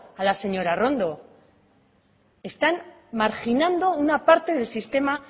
a la señora arrondo están marginado una parte del sistema